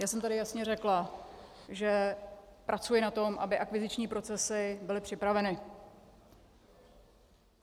Já jsem tady jasně řekla, že pracuji na tom, aby akviziční procesy byly připraveny.